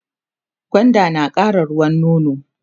gwanda nakara ruwan nono